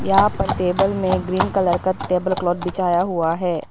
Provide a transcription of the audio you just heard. यहां पर टेबल में ग्रीन कलर का टेबल क्लॉथ बिछाया हुआ है।